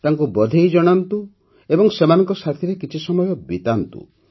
ତାଙ୍କୁ ବଧେଇ ଜଣାନ୍ତୁ ଏବଂ ସେମାନଙ୍କ ସାଥୀରେ କିଛି ସମୟ କାଟନ୍ତୁ